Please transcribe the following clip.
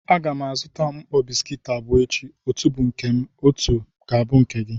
A ga m azụta mkpọ bisikiiti abụọ echi, otu bu nke m ma otu bu nke gị.